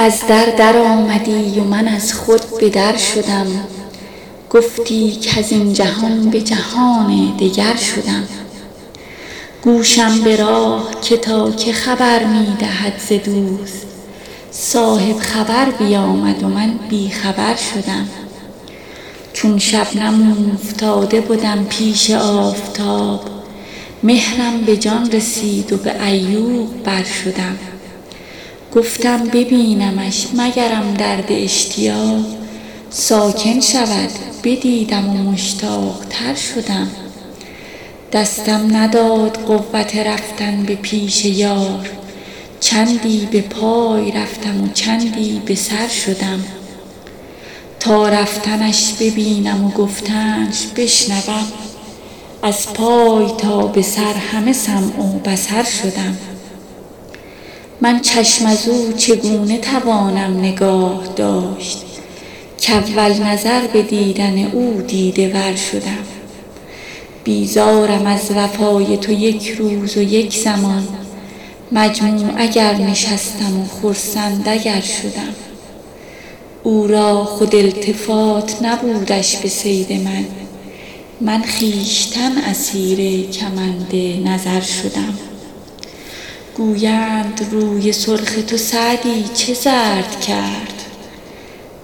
از در درآمدی و من از خود به در شدم گفتی کز این جهان به جهان دگر شدم گوشم به راه تا که خبر می دهد ز دوست صاحب خبر بیامد و من بی خبر شدم چون شبنم اوفتاده بدم پیش آفتاب مهرم به جان رسید و به عیوق بر شدم گفتم ببینمش مگرم درد اشتیاق ساکن شود بدیدم و مشتاق تر شدم دستم نداد قوت رفتن به پیش یار چندی به پای رفتم و چندی به سر شدم تا رفتنش ببینم و گفتنش بشنوم از پای تا به سر همه سمع و بصر شدم من چشم از او چگونه توانم نگاه داشت کاول نظر به دیدن او دیده ور شدم بیزارم از وفای تو یک روز و یک زمان مجموع اگر نشستم و خرسند اگر شدم او را خود التفات نبودش به صید من من خویشتن اسیر کمند نظر شدم گویند روی سرخ تو سعدی چه زرد کرد